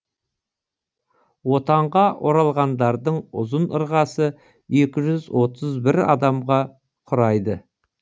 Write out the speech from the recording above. отанға оралғандардың ұзын ырғасы екі жүз отыз бір адамға құрайды